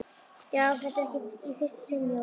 Já, þetta er ekki í fyrsta sinn Jóhann.